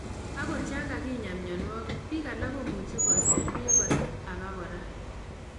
Angot yon ka kinyaa myonitok, biik alak komuche koser beek kora aba kora